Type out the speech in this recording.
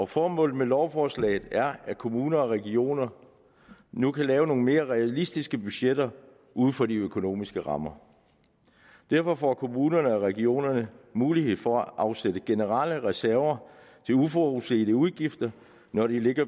formålet med lovforslaget er at kommuner og regioner nu kan lave nogle mere realistiske budgetter ud fra de økonomiske rammer derfor får kommunerne og regionerne mulighed for at afsætte generelle reserver til uforudsete udgifter når de lægger